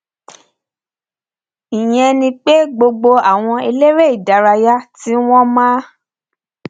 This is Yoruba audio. ìyẹn ni pé gbogbo àwọn eléré ìdárayá tí wọn máa